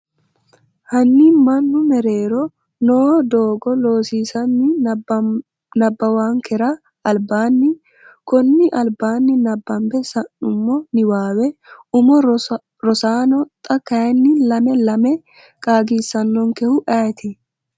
Hanni manu meerero noo doogoLoossinanni nabbawankera albaanni konni albaanni nabbambe sa’nummo niwaawe umo Rosaano, xa kayinni lame lame qaagisannonkehu ayeeti?